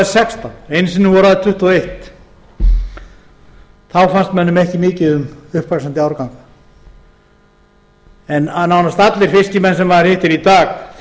sextán einu sinn voru þær tuttugu og eitt þá fannst mönnum ekki mikið um uppvaxandi árganga en nánast öllum fiskimönnum sem maður hittir í dag